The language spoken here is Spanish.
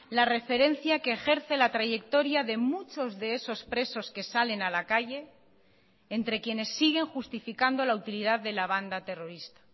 la referencia que ejerce la trayectoria de muchos de esos presos que salen a la calle entre quienes siguen justificando la utilidad de la banda terrorista